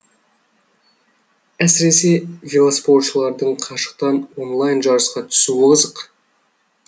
әсіресе велоспортшылардың қашықтан онлайн жарысқа түсуі қызық